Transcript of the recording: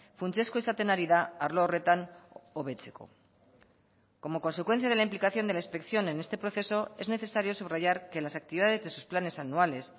funtsezkoa izaten ari da arlo horretan hobetzeko como consecuencia de la implicación de la inspección en este proceso es necesario subrayar que las actividades de sus planes anuales